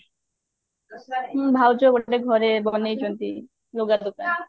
ହୁଁ ଭାଉଜ ଗୋଟେ ଘରେ ବନେଇଛନ୍ତି ଲୁଗା ଦୋକାନ